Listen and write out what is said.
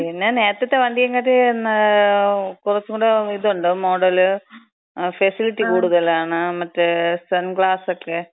പിന്നെ, നേരത്തത്ത വണ്ടിയെകാട്ടിലും കുറച്ചൂടി ഇത്ണ്ട്. മോഡല്, ഫെസിലിറ്റി കൂടുതലാണ്. മറ്റേ സൺഗ്ലാസക്കെ, അങ്ങനെ.